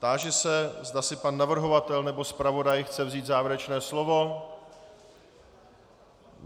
Táži se, zda si pan navrhovatel nebo zpravodaj chce vzít závěrečné slovo.